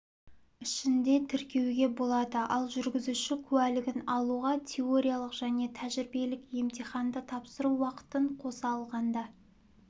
ішінде тіркеуге болады ал жүргізуші куәлігін алуға теориялық және тәжірибелік емтиханды тапсыру уақытын қоса алғанда